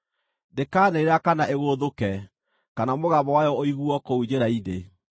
Ndĩkaanĩrĩra kana ĩgũũthũke, kana mũgambo wayo ũiguuo kũu njĩra-inĩ.